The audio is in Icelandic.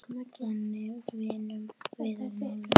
Þannig vinnum við úr málunum